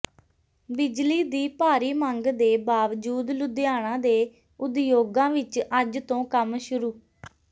ਬਿਜਲੀ ਦੀ ਭਾਰੀ ਮੰਗ ਦੇ ਬਾਵਜੂਦ ਲੁਧਿਆਣਾ ਦੇ ਉਦਯੋਗਾਂ ਵਿੱਚ ਅੱਜ ਤੋਂ ਕੰਮ ਸ਼ੁਰੂ